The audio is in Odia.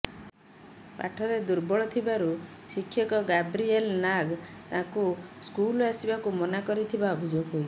ପାଠରେ ଦୁର୍ବଳ ଥିବାରୁ ଶିକ୍ଷକ ଗାବ୍ରିଏଲ ନାଗ ତାକୁ ସ୍କୁଲ ଆସିବାକୁ ମନା କରିଥିବା ଅଭିଯୋଗ ହୋଇଛି